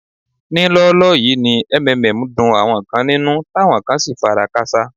Ní lọ́ọ́lọ́ yìí ni MMM dun àwọn kan nínú táwọn kan sì fara káṣá.